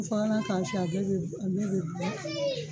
Binfagalan k'a fiɲɛ, a bɛ